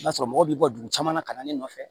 I b'a sɔrɔ mɔgɔ b'i ka dugu caman na ka na ne nɔfɛ